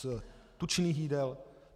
Z tučných jídel?